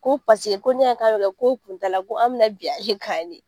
Ko ko n'i y'a y'e k'a bɛ kɛ ko kun t'a la ko an bɛna bin ale kan de